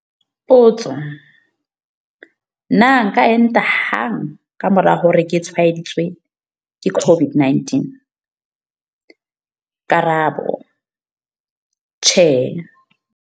Potso- Na nka enta hang ka mora hore ke tshwaeditswe ke COVID-19? Karabo- Tjhe.